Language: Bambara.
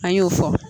An y'o fɔ